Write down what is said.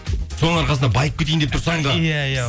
соның арқасында байып кетейін деп тұрсаң да иә иә